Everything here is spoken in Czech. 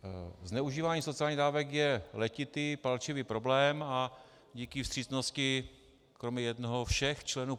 Zneužívání sociálních dávek je letitý palčivý problém a díky vstřícnosti kromě jednoho všech členů